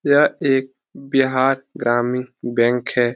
यह एक बिहार ग्रामीण बैंक है।